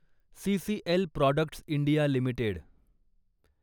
CCL products India limited